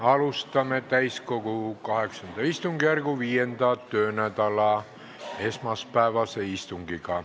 Alustame täiskogu VIII istungjärgu 5. töönädala esmaspäevast istungit.